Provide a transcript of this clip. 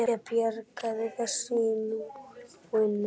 Ég bjargar þessu á nóinu.